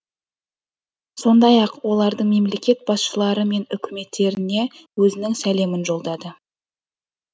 сондай ақ олардың мемлекет басшылары мен үкіметтеріне өзінің сәлемін жолдады